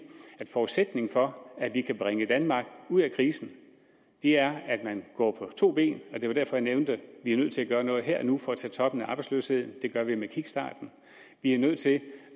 at forudsætningen for at vi kan bringe danmark ud af krisen er at man går på to ben og det var derfor jeg nævnte at vi er nødt til at gøre noget her og nu for at tage toppen af arbejdsløsheden og det gør vi med kickstarten vi er nødt til